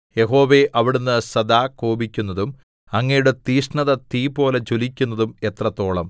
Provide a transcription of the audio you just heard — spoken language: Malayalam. യഹോവേ അവിടുന്ന് സദാ കോപിക്കുന്നതും അങ്ങയുടെ തീക്ഷ്ണത തീപോലെ ജ്വലിക്കുന്നതും എത്രത്തോളം